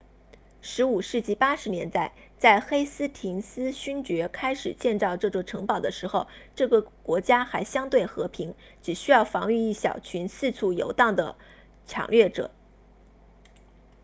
15世纪80年代在黑斯廷斯勋爵 lord hastings 开始建造这座城堡的时候这个国家还相对和平只需要防御一小群四处游荡的抢掠者